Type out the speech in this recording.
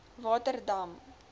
waterdam